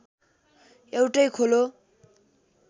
एउटै खोलो